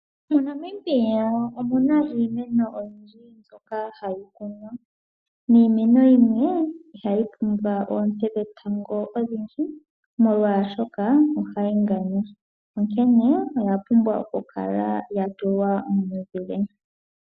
MoNamibia omuna iimeno oyindji mbyoka hayi kunwa, niimeno yimwe ihayi pumbwa oonte dhetango odhindji, molwashoka ohayi nganya, onkene oya pumbwa oku kala ya tulwa momuzile.